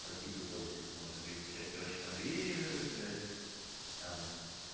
по типа того что там можно переключать короче конвейеры блять там